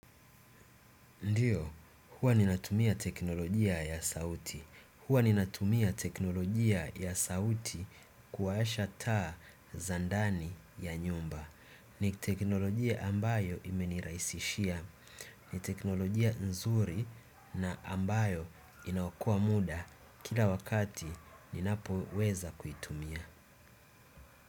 Ndiyo, huwa ninatumia teknolojia ya sauti. Huwa ninatumia teknolojia ya sauti kuwasha taa za ndani ya nyumba. Ni teknolojia ambayo imenirahisishia. Ni teknolojia nzuri na ambayo inaokoa muda kila wakati ninapoweza kuitumia.